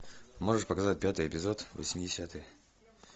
можешь показать пятый эпизод восьмидесятые